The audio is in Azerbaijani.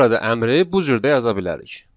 Biz burada əmri bu cür də yaza bilərik.